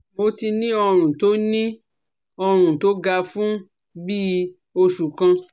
Mo ti ní ọrùn tó ní ọrùn tó gan fún bí i oṣù kan